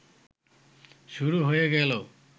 শুরু হয়ে গেল